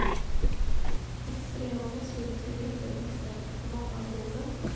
Extrema muslimska grupper misstänks för många av dåden.